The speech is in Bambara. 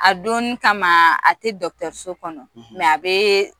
A donnin kama a tɛ dɔgɔtɔréso kɔnɔ a bɛ